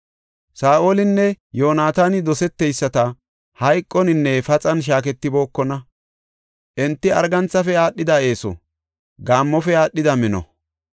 Saa7olinne Yoonataani doseteyisata; hayqoninne paxan shaaketibookona. Enti arganthafe aadhidi eeso; gaammofe aadhidi mino.